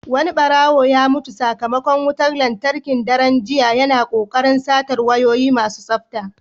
Wani ɓarawo ya mutu sakamakon wutar lantarki a daren jiya, yana kokarin satar wayoyi masu tsafta.